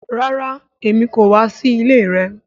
Rara Emi ko wa si ile rẹ